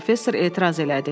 professor etiraz elədi.